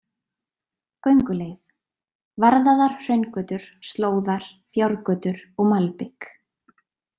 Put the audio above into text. Gönguleið: Varðaðar hraungötur, slóðar, fjárgötur og malbik.